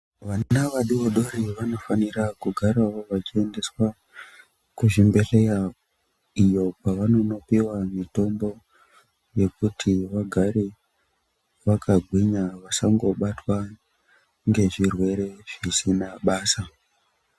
Vana vadoridori vanofanira kugarawo vachiendeswa kuzvibhedlera iyo kwavanonopiwa mitombo yekuti vagare vakagwinya vasangobatwa ngezvirwere zvisina basa.